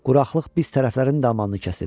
Quraqlıq biz tərəflərin də amanını kəsib.